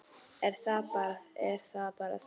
Er það bara það?